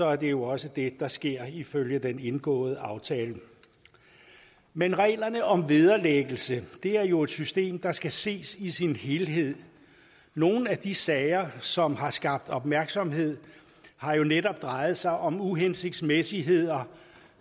er det jo også det der sker ifølge den indgåede aftale men reglerne om vederlæggelse er jo et system der skal ses i sin helhed nogle af de sager som har skabt opmærksomhed har jo netop drejet sig om uhensigtsmæssigheder